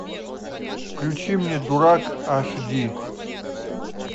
включи мне дурак аш ди